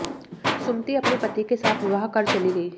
सुमति अपने पति के साथ विवाह कर चली गई